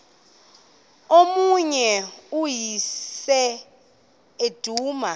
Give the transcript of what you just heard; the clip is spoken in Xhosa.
umyeni uyise iduna